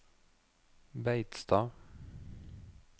Beitstad